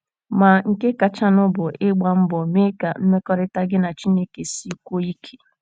Ma, nke kachanụ bụ ịgba mbọ mee ka mmekọrịta gị na Chineke sikwuo ike.